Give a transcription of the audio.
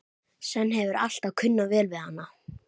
Svenni hefur alltaf kunnað vel við hana.